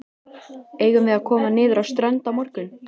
Eigum við að koma niður á strönd á morgun?